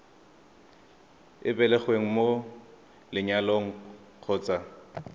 o belegweng mo lenyalong kgotsa